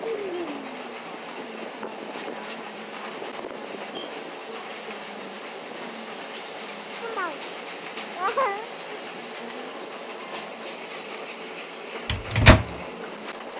সাদা উম আবার আহ হচ্ছে কালো ধূসর রঙের নানা রকম। গরু গরুর গায়ে নানা রকম